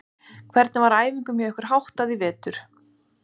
Hvernig var æfingum hjá ykkur verið háttað hjá ykkur í vetur?